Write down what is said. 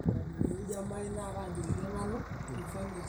tushukoki enkulupuoni eshumata mpaka neiputa pooki wueji